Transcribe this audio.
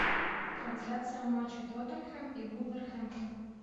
трансляция матча тоттенхэм и вулверхэмптон